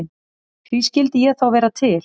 Því skyldi ég þá vera til?